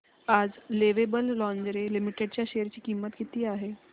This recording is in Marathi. आज लवेबल लॉन्जरे लिमिटेड च्या शेअर ची किंमत किती आहे